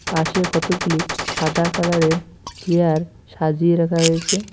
পাশে কতগুলি সাদা কালার -এর চেয়ার সাজিয়ে রাখা হয়েসে।